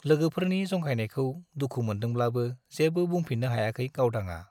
लोगोफोरनि जंखायनायखौ दुखु मोनदोंब्लाबो जेबो बुंफिन्नो हायाखै गावदांआ ।